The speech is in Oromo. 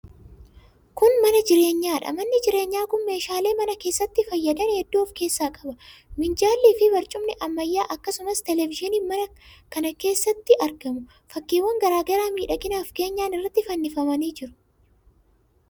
Kun mana jireenyaadha. Manni jireenyaa kun meeshaalee mana keessatti fayyadan hedduu of keessaa qaba. Minjaallii fi barcumni ammayyaa, akkasumas teelevizyiiniin mana kana keessatti argamu. Fakkiiwwan garaa garaa miidhaginaaf keenyan irratti fannifamanii jiru.